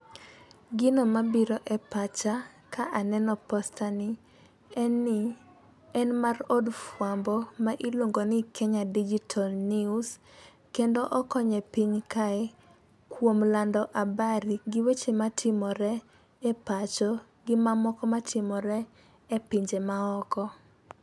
Gino mabiro e pacha ka aneno poster ni en ni en mar od fwambo ma iluongo ni kenya digital news. kendo okonye piny kae kuom lando habari gi weche matimore e pacho gi mamoko matimore e pinje maoko.